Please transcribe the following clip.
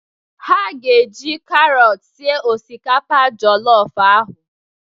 Ha ga-eji karọt sie osikapa jọlọf ahụ.